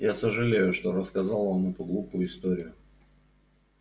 я сожалею что рассказал вам эту глупую историю